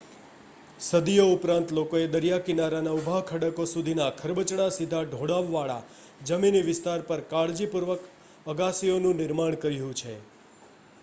સદીઓ ઉપરાંત લોકોએ દરિયાકિનારાના ઊભા ખડકો સુધીના ખરબચડા સીધા ઢોળાવવાળા જમીની વિસ્તાર પર કાળજીપૂર્વક અગાશીઓનું નિર્માણ કર્યું છે